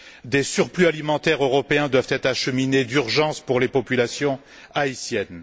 Des surplus alimentaires européens doivent être acheminés d'urgence pour les populations haïtiennes.